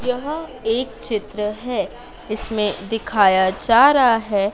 यह एक चित्र है इसमें दिखाया जा रहा है।